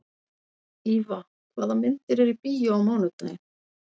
Íva, hvaða myndir eru í bíó á mánudaginn?